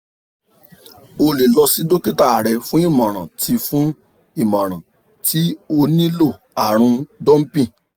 o lè lọ si dokita rẹ fun imọran ti fun imọran ti o nilo arun dumping